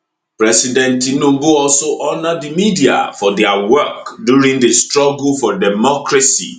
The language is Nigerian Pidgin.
president tinubu also honour di media for dia work during di struggle for democracy